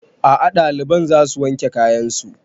A'a ɗaliban za su wanke kayan su